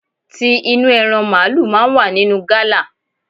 Ti inú ẹran màlúù máa ń wà nínú gala.